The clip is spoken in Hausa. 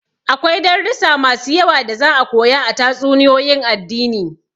Akwai darussa masu yawa da za'a koya a tatsuniyoyin addini.